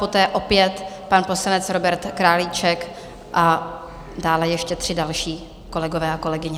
Poté opět pan poslanec Robert Králíček a dále ještě tři další kolegové a kolegyně.